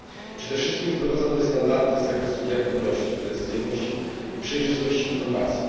Przede wszystkim wprowadza nowe standardy z zakresu wiarygodności, precyzyjności i przejrzystości informacji.